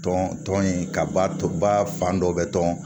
Tɔn tɔn in ka ba fan dɔ bɛ tɔn